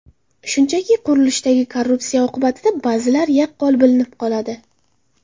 Shunchaki, qurilishdagi korrupsiya oqibati ba’zida yaqqol bilinib qoladi.